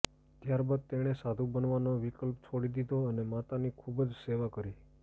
ત્યાર બાદ તેમણે સાધુ બનાવાનો વિકલ્પ છોડી દીધો અને માતાની ખુબ જ સેવા કરી